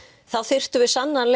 þá þyrftum við sannarlega